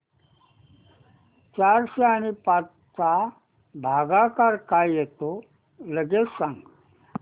चारशे आणि पाच चा भागाकार काय येतो लगेच सांग